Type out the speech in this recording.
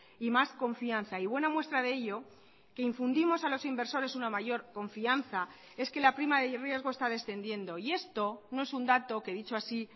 y más confianza y buena muestra de ello que infundimos a los inversores una mayor confianza es que la prima de riesgo está descendiendo y esto no es un dato que dicho así